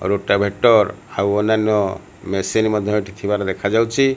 Rota ଭେଟର ଅନ୍ଯାନ୍ଯ machine ମଧ୍ଯ ଥିବାର ଦେଖାଯାଉଛି।